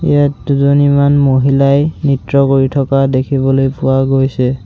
ইয়াত দুজনীমান মহিলাই নৃত্য কৰি থকা দেখিবলৈ পোৱা গৈছে।